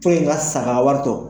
ŋa sa ka wari to